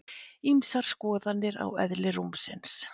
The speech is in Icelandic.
Ýmsar skoðanir á eðli rúmsins